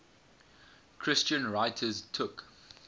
christian writers took